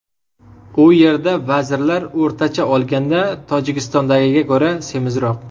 U yerda vazirlar o‘rtacha olganda Tojikistondagiga ko‘ra semizroq.